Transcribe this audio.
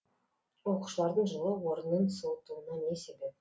оқушылардың жылы орнын суытуына не себеп